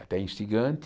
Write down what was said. Até instigante.